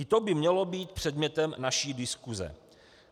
I to by mělo být předmětem naší diskuse.